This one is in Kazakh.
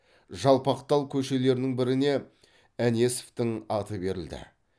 жалпақтал көшелерінің біріне әнесовтің аты берілді